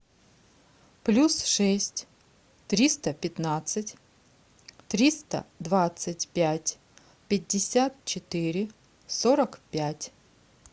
плюс шесть триста пятнадцать триста двадцать пять пятьдесят четыре сорок пять